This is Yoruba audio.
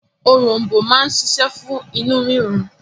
Òrom̀bó máa ń ṣiṣẹ́ fún inú rírun.